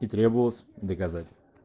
и требовалось доказать